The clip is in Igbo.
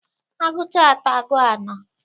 A gụcha atọ, agụọ anọ.